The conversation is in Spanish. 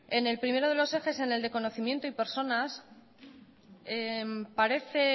en el primero de los ejes en el de conocimiento y personas parece